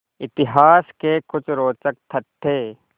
इतिहास के कुछ रोचक तथ्य